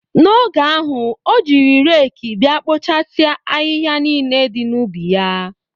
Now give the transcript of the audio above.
Oge ahụ, o jiri reekị bịa kpoochasia ahịhịa niile dị n'ubi ya.